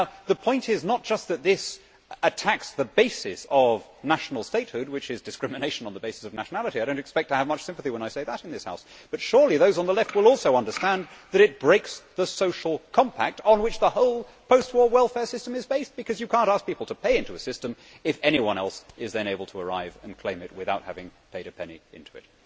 The point is not just that this attacks the basis of national statehood, which is discrimination on the basis of nationality. I do not expect much sympathy when I say that in this House, but surely those on the Left will also understand that it breaks the social compact on which the whole post war welfare system is based, because you cannot ask people to pay into a system if anyone else is then able to arrive and claim from it without having paid a penny into it.